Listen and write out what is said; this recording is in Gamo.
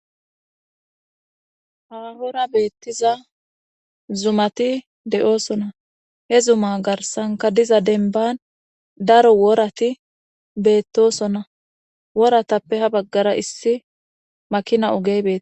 hahora beettiza zumati de7oosona he zuma garsanka diza denban daro worati beettosona woratappe ha baggara issi makina ogey beeti